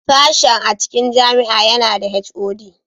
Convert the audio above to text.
Sashen a cikin jami'a yana da (HOD)